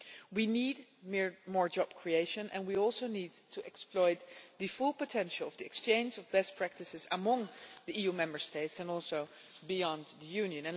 We need more job creation and we also need to exploit the full potential of the exchange of best practices among the EU Member States, and also beyond the Union.